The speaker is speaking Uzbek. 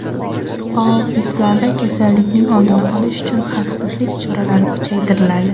Ofislarda kasallikning oldini olish uchun xavfsizlik choralari kuchaytiriladi.